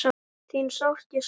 Þín sárt ég sakna.